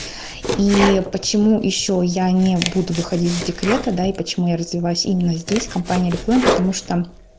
и почему ещё я не буду выходить из декрета да и почему я развиваюсь именно здесь компании орифлейм потому что